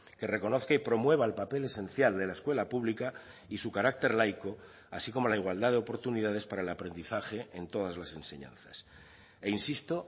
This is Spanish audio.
que reconozca y promueva el papel esencial de la escuela pública y su carácter laico así como la igualdad de oportunidades para el aprendizaje en todas las enseñanzas e insisto